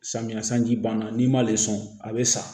Samiya sanji banna n'i m'ale sɔn a bɛ sa